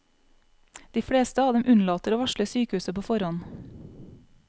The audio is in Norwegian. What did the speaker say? De fleste av dem unnlater å varsle sykehuset på forhånd.